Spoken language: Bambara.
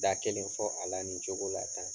Da kelen fɔ a la nin cogo la tan.